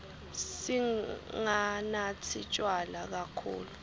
singanatsi tjwala kakhulu